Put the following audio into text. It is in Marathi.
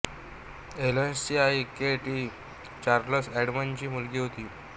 हेलनची आई केट ही चार्लस एडम्स यांची मुलगी होती